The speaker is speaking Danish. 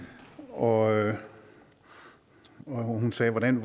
og og hun sagde hvordan